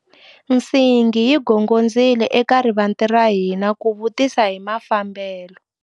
Nsingi yi gongondzile eka rivanti ra hina ku vutisa hi mafambelo.